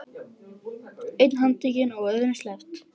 Einn handtekinn og öðrum sleppt